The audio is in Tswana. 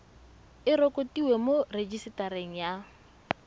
e rekotiwe mo rejisetareng ya